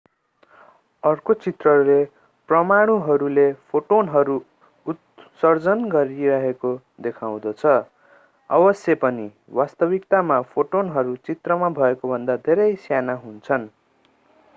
अर्को चित्रले परमाणुहरूले फोटोनहरू उत्सर्जन गरिरहेको देखाउँदछ अवश्य पनि वास्तविकतामा फोटोनहरू चित्रमा भएकोभन्दा धेरै साना हुन्छन्